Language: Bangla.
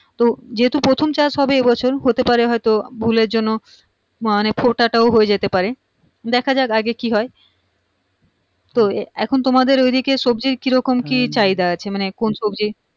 তো যেহেতু প্রথম চাষ হবে এইবছর হতেপারে হয়তো ভুলের জন্য মানে ফোটাটাও হয়ে যেতে পারে দেখা যাক আগে কি হয় তো এখন তোমাদের ঐদিকে সবজির কিরকম কি চাহিদা আছে মানে কোন সবজি